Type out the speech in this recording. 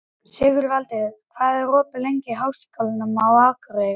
Sigurvaldi, hvað er opið lengi í Háskólanum á Akureyri?